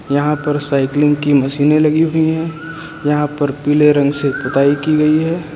यहां पर साइकलिंग की मशीने लगी हुई है यहां पर पीले रंग से पुताई की गई है।